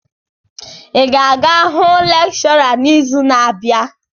Ị ga-aga hụ lekshọra n'izu na-abịa!